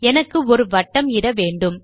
எனக்கு ஒரு வட்டம் இட வேண்டும்